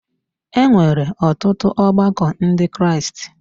E nwere ọtụtụ ọgbakọ Ndị Kraịst.